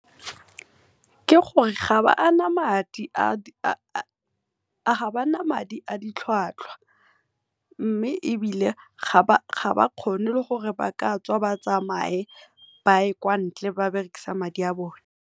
Ke gore ga ba na madi a ditlhwatlhwa mme ebile ga ba kgone le gore ba ka tswa ba tsamaye ba ye kwa ntle ba berekisa madi a bone.